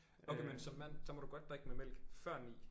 Okay men som mand så må du godt drikke med mælk før 9